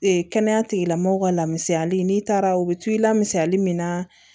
kɛnɛya tigilamɔgɔw ka lamisaali n'i taara u bɛ to i la misali min na